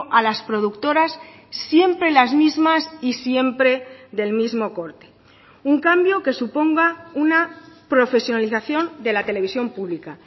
a las productoras siempre las mismas y siempre del mismo corte un cambio que suponga una profesionalización de la televisión pública